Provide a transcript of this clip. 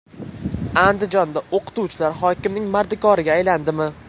Andijonda o‘qituvchilar hokimning mardikoriga aylandimi?.